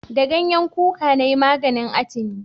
Da ganyen kuka na yi maganin atini